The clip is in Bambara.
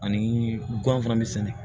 Ani gan fana bɛ sɛnɛ